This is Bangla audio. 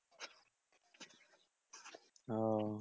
ও